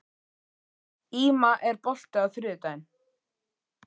Íma, er bolti á þriðjudaginn?